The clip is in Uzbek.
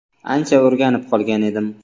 Ancha o‘rganib qolgan edim.